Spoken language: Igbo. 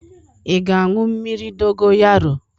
Ị ga-aṅụ mmiri dogoyara?